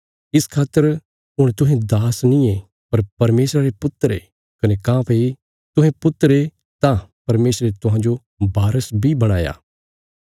इस खातर हुण तुहें दास नींये पर परमेशरा रे पुत्र ये कने काँह्भई तुहें पुत्र ये तां परमेशरे तुहांजो वारस बी बणया